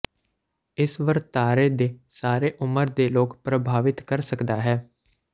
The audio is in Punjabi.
ਇਸ ਵਰਤਾਰੇ ਦੇ ਸਾਰੇ ਉਮਰ ਦੇ ਲੋਕ ਪ੍ਰਭਾਵਿਤ ਕਰ ਸਕਦਾ ਹੈ